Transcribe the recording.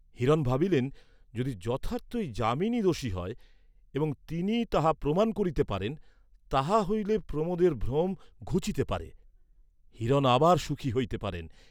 হিরণ ভাবিলেন, যদি যথার্থই যামিনী দোষী হয় এবং তিনি তাহা প্রমাণ করিতে পারেন, তাহা হইলে প্রমোদের ভ্রম ঘুচিতে পারে; হিরণ আবার সুখী হইতে পারেন।